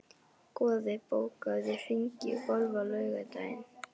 Goði, bókaðu hring í golf á laugardaginn.